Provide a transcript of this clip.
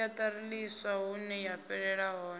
siaṱari ḽiswa huneya fhelela hone